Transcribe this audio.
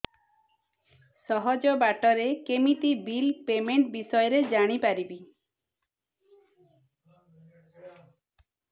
ସହଜ ବାଟ ରେ କେମିତି ବିଲ୍ ପେମେଣ୍ଟ ବିଷୟ ରେ ଜାଣି ପାରିବି